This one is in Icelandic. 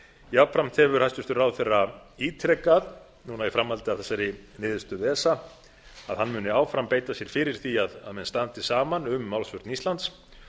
jafnframt hefur hæstvirtur ráðherra ítrekað núna í framhaldi af þessari niðurstöðu esa að hann muni áfram beita sér fyrir því að menn standi saman um málsvörn íslands